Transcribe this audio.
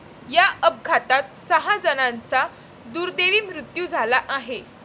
या अपघातात सहा जणांचा दुर्दैवी मृत्यू झाला आहे.